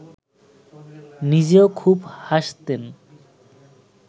নিজেও খুব হাসতেন